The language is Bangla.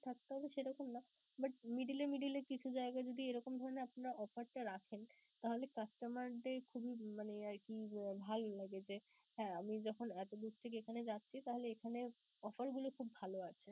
থাকতে হবে সেরকম না but middle এ middle এ কিছু জায়গায় যদি এরকম ধরণের আপনারা offer টা রাখেন, তাহলে customer দের খুবই মানে আরকি ভালো লাগে যে, হ্যাঁ আমি যখন এতো দূর থেকে এখানে যাচ্ছি তাহলে এখানে offer গুলো খুব ভালো আছে.